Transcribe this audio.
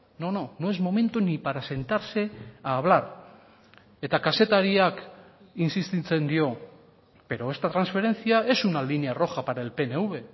no no no es momento ni para sentarse a hablar eta kazetariak insistitzen dio pero esta transferencia es una línea roja para el pnv